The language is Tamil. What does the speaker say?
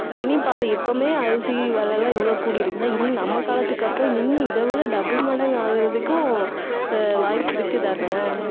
இனி பாரு, இப்பமே அரிசி விலை எல்லாம் இவ்வளவு கூடியிருக்குன்னா இன்னும் நம்ம காலத்துக்கு அப்புறம் இன்னும் இதை விட double மடங்கு ஆகறதுக்கும் அஹ் வாய்ப்பு இருக்குதானே